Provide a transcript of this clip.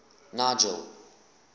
nigel